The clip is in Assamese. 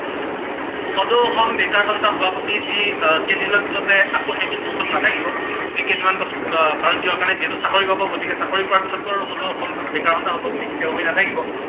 সদৌ অসম বেকাৰ সন্থাৰ সভাপতি যি আহ কেইদিন পিছতে আকৌ সেইটো post ত নাথাকিব, যি কেইদিনমান আহ কাৰন কিহব কাৰনে, যিহেতু চাকৰি পাব, গতিকে চাকৰি পোৱাৰ পিছতটো আৰু সদৌ অসম বেকাৰ সন্থাৰ সভাপতি তেওঁ হৈ নাথাকিব।